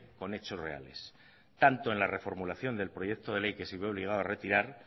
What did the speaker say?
con hechos reales tanto en la reformulación del proyecto de ley que se vio obligado a retirar